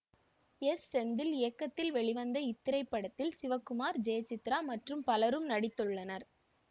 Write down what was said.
S Senthil இயக்கத்தில் வெளிவந்த இத்திரைப்படத்தில் சிவகுமார் ஜெயசித்ரா மற்றும் பலரும் நடித்துள்ளனர்